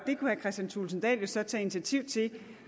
kristian thulesen dahl jo så tage initiativ til